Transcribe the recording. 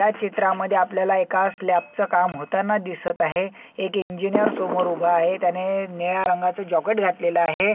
ह्या चित्रामद्धे आपल्याला एका स्लॅप च काम होताना दिसत आहे एक इंजीनियर समोर उभा आहे त्याने निळ्या रंगाच जॉकेट घातलेल आहे.